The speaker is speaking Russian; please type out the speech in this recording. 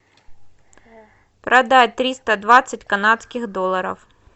продать триста двадцать канадских долларов